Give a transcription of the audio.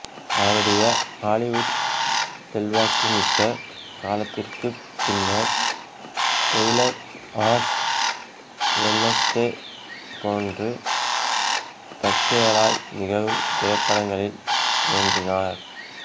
அவருடைய ஹாலிவுட் செல்வாக்குமிக்க காலத்திற்குப் பின்னர் டெய்லர் ஆஷ் வெட்னஸ்டே போன்று தற்செயலாய் நிகழும் திரைப்படங்களில் தோன்றினார்